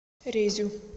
резю